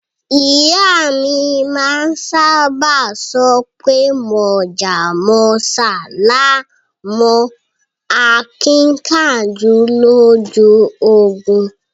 Iya mi maa saba sope Mojá mósá laa n mo akinkanju loju ogun